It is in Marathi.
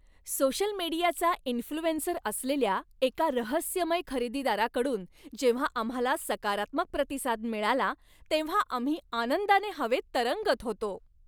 सोशल मीडियाचा इंफ्लूएन्सर असलेल्या एका रहस्यमय खरेदीदाराकडून जेव्हा आम्हाला सकारात्मक प्रतिसाद मिळाला तेव्हा आम्ही आनंदाने हवेत तरंगत होतो.